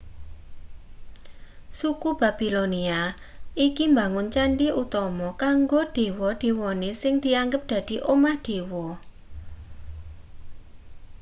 suku babilonia iki mbangun candhi utama kanggo dewa-dewane sing dianggep dadi omah dewa